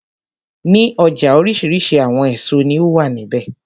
Ní ọjà oríṣi àwọn èso ní ó wà ní ibẹ̀.